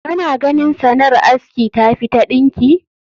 Kana ganin sanar aski tafi ta ɗinki?